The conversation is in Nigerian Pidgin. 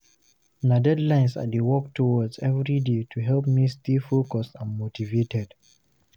Na deadlines I dey work towards every day to help me stay focused and motivated.